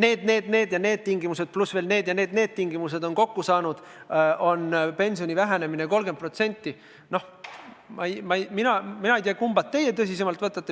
need ja need tingimused pluss veel need ja need tingimused on kokku saanud, väheneb pension 30% – no mina ei tea, kumba teie tõsisemalt võtate.